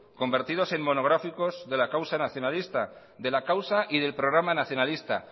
convertidos en monográficos de la causa nacionalista de la causa y del programa nacionalista